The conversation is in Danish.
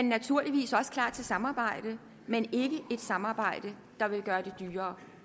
naturligvis også klar til samarbejde men ikke et samarbejde der vil gøre det dyrere